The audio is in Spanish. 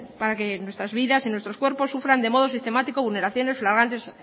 para que nuestras vidas y nuestros cuerpos sufran de modo sistemático vulneraciones flagrantes